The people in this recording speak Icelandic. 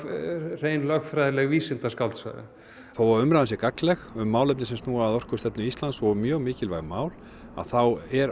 hrein lögfræðileg vísindaskáldsaga þó að umræðan sé gagnleg um málefni sem snúa að orkustefnu Íslands og mjög mikilvæg mál þá er